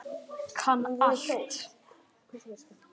Kann allt.